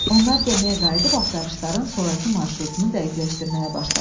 Onlar gəmiyə qayıdıb axtarışların sonrakı marşrutunu dəqiqləşdirməyə başladılar.